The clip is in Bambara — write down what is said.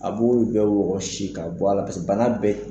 A b'o bɛɛ wɔkɔsi ka bɔ a la bana bɛɛ.